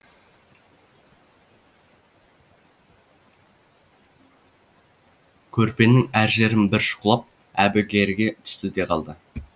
көрпенің әр жерін бір шұқылап әбігерге түсті де қалды